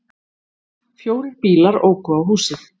Fjórir bílar óku á húsið